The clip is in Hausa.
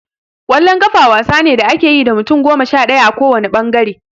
Ƙwallon ƙafa wasa ne da ake yi da mutum goma sha ɗaya a ko wanne ɓangare.